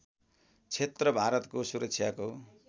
क्षेत्र भारतको सुरक्षाको